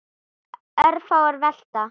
Örfáar velta.